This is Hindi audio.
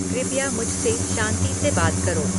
कृपया मुझसे शांति से बात करो